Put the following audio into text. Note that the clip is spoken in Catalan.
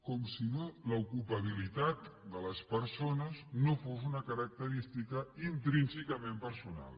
com si l’ocupabilitat de les persones no fos una característica intrínsecament personal